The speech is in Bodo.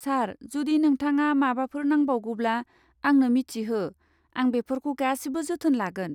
सार, जुदि नोंथाङा माबाफोर नांबावगौब्ला, आंनो मिथिहो, आं बेफोरखौ गासिबो जोथोन लागोन।